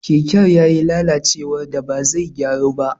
Keken ya yi lalacewar da ba zai gyaru ba.